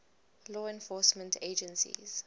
law enforcement agencies